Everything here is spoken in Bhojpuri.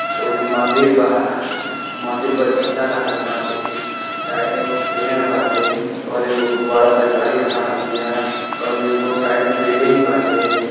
ओ जा मंदिर बा। मंदिर पर झंडा लागल बाटे साइड में एगो पेड़ बाटे और एगो बड़ा सा गाड़ी खड़ा बिया और एगो साइड में बिल्डिंग बाटे।